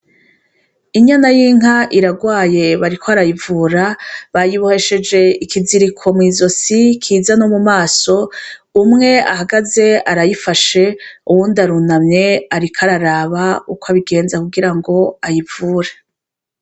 Inyana y'inka iragwaye bariko barayivura bayibohesheje ikiziriko mw'izosi kiza no mumaso, umwe ahagaze arayifashe uwundi arunamye ariko araraba uko abigenza kugirango bayivure.